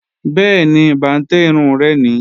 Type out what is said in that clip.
Bẹ́ẹ̀ni, bàǹtẹ́ irun rẹ̀ ni